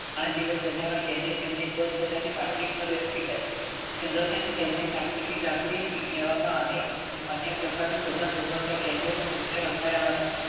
આજીવન સજાના કેદી પોતપોતાની પાટલી પર બેસી ગયા. તરત જ તેમને જકારી લેવામાં આવ્યા. અન્ય પ્રકારની સજા ભોગવતા કેદીઓને મુક્ત રખાયા હતા.